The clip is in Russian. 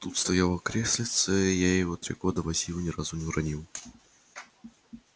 тут стояло креслице я его три года возил ни разу не уронил